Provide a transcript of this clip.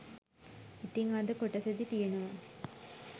ඉතිං අද කොටසෙදි තියෙනවා